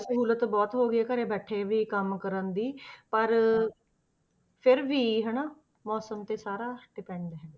ਸਹੂਲਤ ਬਹੁਤ ਹੋ ਗਈ ਹੈ ਘਰੇ ਬੈਠੇ ਵੀ ਕੰਮ ਕਰਨ ਦੀ ਪਰ, ਫਿਰ ਵੀ ਹਨਾ ਮੌਸਮ ਤੇ ਸਾਰਾ depend ਹੈ।